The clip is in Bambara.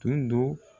Tun do